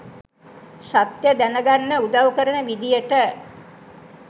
සත්‍යය දැන ගන්න උදව් කරන විදියට